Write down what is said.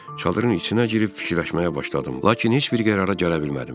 Çadırın içinə girib fikirləşməyə başladım, lakin heç bir qərara gələ bilmədim.